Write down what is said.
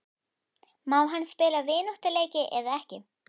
Má hann spila vináttuleiki eða ekki?